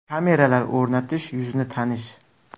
Kameralar o‘rnatish, yuzni tanish.